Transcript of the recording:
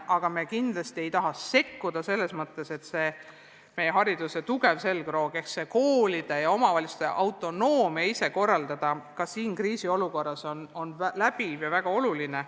Aga kindlasti ei taha me sekkuda selles mõttes, et meie hariduse tugev selgroog ehk koolide ja omavalitsuste autonoomia ise oma asju korraldada kuidagi kahjustada saaks, see on ka kriisiolukorras väga oluline.